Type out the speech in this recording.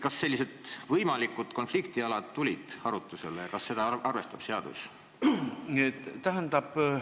Kas sellised võimalikud konfliktialad tulid arutlusele ja kas seadus neid arvestab?